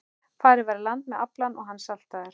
Farið var í land með aflann og hann saltaður.